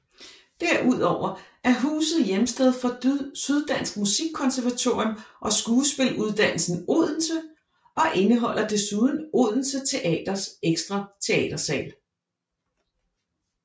Derudover er huset hjemsted for Syddansk Musikkonservatorium og Skuespiluddannelsen Odense og indeholder desuden Odense Teaters ekstra teatersal